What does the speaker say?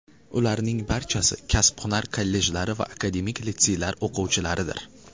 Ularning barchasi kasb-hunar kollejlari va akademik litseylar o‘quvchilaridir.